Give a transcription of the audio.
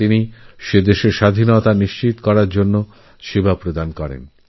তিনি নামিবিয়ার স্বাধীনতাসুনিশ্চিত করতে নিজের সেবা প্রদান করেন